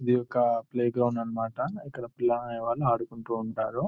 ఇది ఒక ప్లేగ్రౌండ్ అన్నమాట. ఇక్కడ పిల్లలు అనే వాళ్ళు ఆడుకుంటూ ఉంటారు.